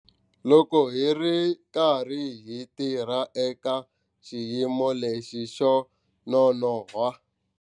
Loko hi ri karhi hi tirha eka xiyimo lexi xo nonoha,